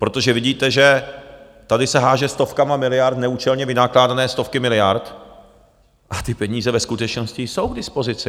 Protože vidíte, že tady se hází stovkami miliard, neúčelně vynakládané stovky miliard a ty peníze ve skutečnosti jsou k dispozici.